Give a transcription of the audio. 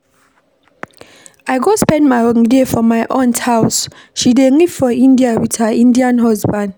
I go spend my holiday for my aunt house, she dey live for India with her Indian husband